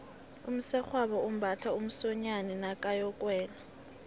umsegwabo umbatha umsonyani nakayokuwela